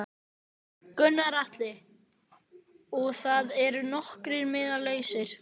Gunnar Atli: Og það eru nokkrir miðar lausir?